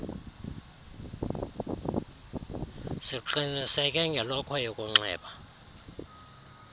siqiniseke ngelokhwe yokunxiba